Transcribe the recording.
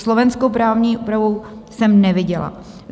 Slovenskou právní úpravu jsem neviděla.